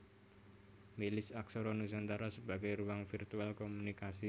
Milis aksara nusantara sebagai ruang virtual komunikasi